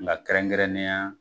Nka kɛrɛnkɛrɛnnenya